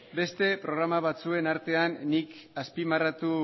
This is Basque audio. beste programa batzuen artean nik azpimarratu